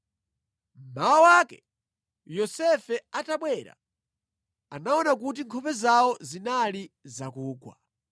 Mmawa wake, Yosefe atabwera, anaona kuti nkhope zawo zinali zakugwa.